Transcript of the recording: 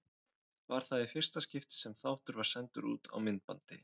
Var það í fyrsta skipti sem þáttur var sendur út á myndbandi.